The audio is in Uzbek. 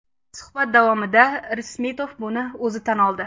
Suhbat davomida Irismetov buni o‘zi tan oldi.